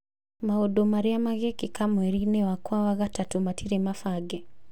Maũndũ marĩa mekĩkaga mweri-inĩ wakwa wa gatatũ matirĩ mabage